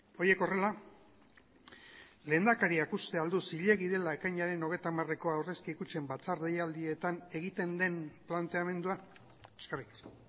horiek horrela lehendakariak uste al du zilegi dela ekainaren hogeita hamareko aurrezki kutxen batzar deialdietan egiten den planteamendua eskerrik asko